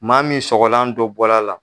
Maa min sɔgɔlan dɔ bɔr'a la